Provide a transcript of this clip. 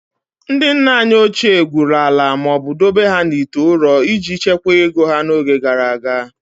Ndị nna anyị ochie gwuru ala ma ọ bụ dobe ha n'ite ụrọ iji chekwaa ego n'oge gara aga